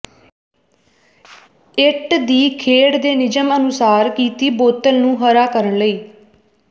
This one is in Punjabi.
ਇੱਟ ਦੀ ਖੇਡ ਦੇ ਨਿਯਮ ਅਨੁਸਾਰ ਕੀਤੀ ਬੋਤਲ ਨੂੰ ਹਰਾ ਕਰਨ ਲਈ